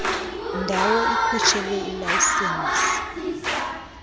ndawo ikhutshelwe ilayisenisi